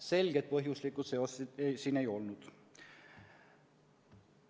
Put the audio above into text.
Selget põhjuslikku seost seal ei olnud.